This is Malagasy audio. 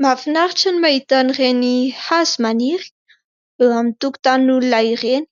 Mahafinaritra ny mahita an'ireny hazo maniry eo amin'ny tokotanin'olona ireny